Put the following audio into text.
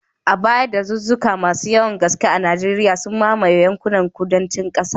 A baya, dazuzzuka masu yawan gaske a Najeriya, sun mamaye yankunan kudancin kasar.